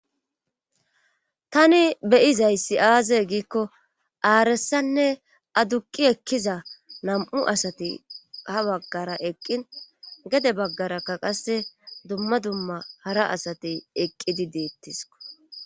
tani beyizayssi aaze giikko aaressanne aduqi ekkiza nam7u asati ha baggara eqqin gede baggarakka qasse dumma dumma hara asate eqqidi deettiso